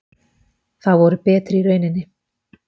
Það voru betri í rauninni.